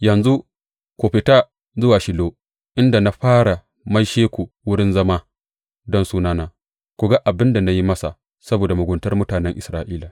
Yanzu ku fita zuwa Shilo inda na fara maishe shi wurin zama don Sunana, ku ga abin da na yi masa saboda muguntar mutanen Isra’ila.